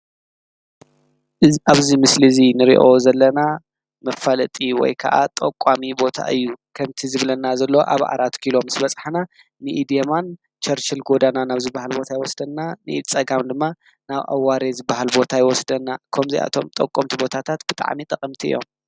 ኣብዙይ ምስሊ እዙይ ንርኦ ዘለና መፋለጢ ወይ ከዓ ጠቋሚ ቦታ እዩ ከንቲ ዝብለና ዘሎ ኣብ ዓራት ኪሎም ስ በጽሕና ንኢድየማን ኬርኬል ጐዳና ናብዝ በሃል ቦታ ኣይወስደና ንኢ ዝጸጋም ድማ ናብ ኣዋሬ ዝበሃል ቦታኣይ ወስደና እከም ዚይኣቶም ጠቆምቲ ቦታታት ብጥዕሚ ጠቕምቲ እዮም።